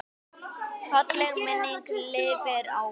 Falleg minning lifir áfram.